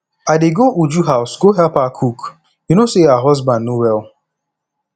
i dey go uju house go help her cook you know say her husband no well